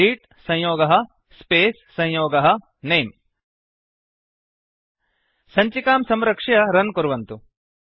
greet संयोगः space संयोगः नमे सञ्चिकां संरक्ष्य रन् कुर्वन्तु